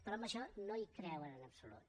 però en això no hi creuen en absolut